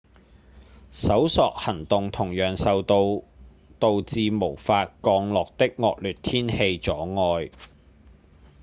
搜索行動同樣受到導致無法降落的惡劣天氣阻礙